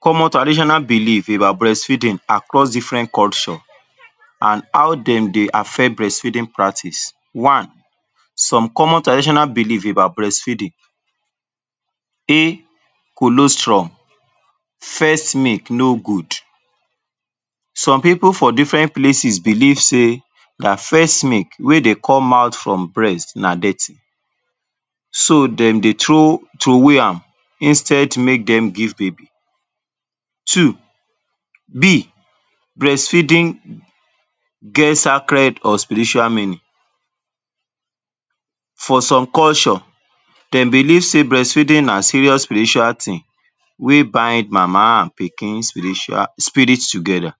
Common traditional belief about breastfeeding across different culture an how dem dey affect breastfeeding practice. One, some common tradition belief about breastfeeding. Colostrum—first milk—no good: Some pipu for different places believe sey the first milk wey dey come out from breast na dirty. So, dem dey throw throwway am instead make dem give baby. Two [B] Breastfeeding get sacred or spiritual meaning: For some culture, dem believe sey breastfeeding na serious spiritual tin wey bind mama an pikin spiritual spirit together.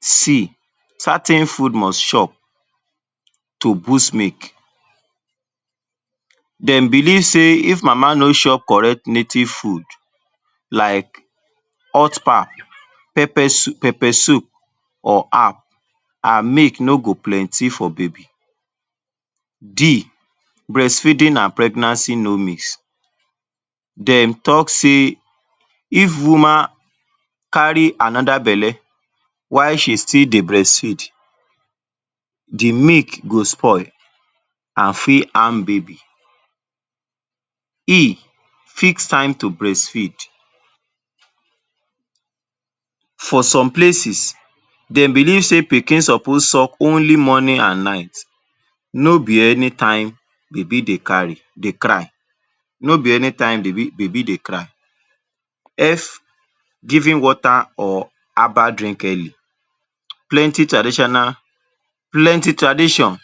[C] Certain food must chop to boost milk: Dem believe sey if mama no chop correct native food like hot pap, pepper soup, pepper soup or herb, her milk no go plenty for baby. Breastfeeding a pregnancy no mix: [D] Dem talk sey if woman carry another belle while she still dey breastfeed, the milk go spoil, a fit harm baby. [E] Fix time to breastfeed: For some places, dem believe sey pikin suppose suck only morning a night, no be any time baby dey carry, dey cry. No be anytime baby baby dey cry. [F] Giving water or herbal drink early: Plenty traditional plenty tradition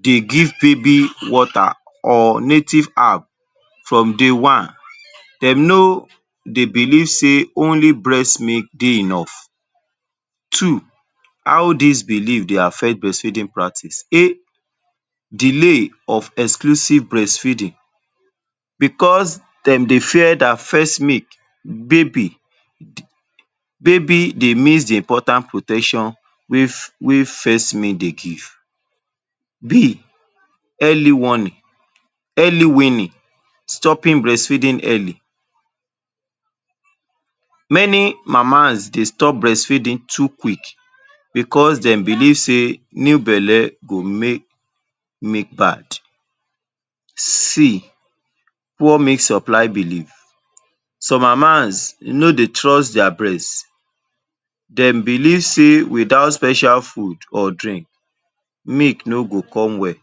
dey give baby water or native herb from day one. Dem no dey believe sey only breast milk dey enough. Two, how dis belief dey affect breastfeeding practice. [A] Delay of exclusive breastfeeding: Becos dem dey fear dat first milk, baby baby dey miss the important protection wey first milk dey give. Early warning. [B] Early [warning] weaning—stopping breastfeeding early: Many mamas dey stop breastfeeding too quick becos dem believe sey new belle go make milk bad. [C] Poor milk supply belief: Some mamas no dey trust dia breast. Dem believe sey without special food or drink, milk no go come well.